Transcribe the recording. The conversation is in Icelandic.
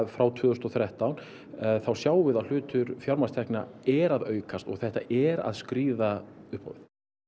frá tvö þúsund og þrettán þá sjáum við að hlutur fjármagnstekna er að aukast og þetta er að skríða upp á við